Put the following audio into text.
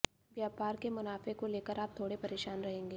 व्यापार के मुनाफे को लेकर आप थोड़े परेशान रहेंगे